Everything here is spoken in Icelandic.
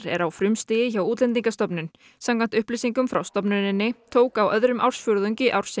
er á frumstigi hjá Útlendingastofnun samkvæmt upplýsingum frá stofnuninni tók á öðrum ársfjórðungi ársins